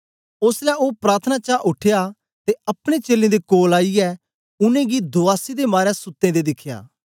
ओसलै ओ प्रार्थना चा उठया ते अपने चेलें दे कोल आईयै उनेंगी दुआसी दे मारे सुत्ते दें दिखया